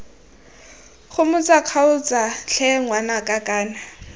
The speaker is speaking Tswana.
gomotsa kgaotsa tlhe ngwanaka kana